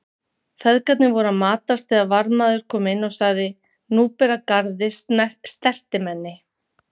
Feðgarnir voru að matast þegar varðmaður kom inn og sagði:-Nú ber að garði stertimenni.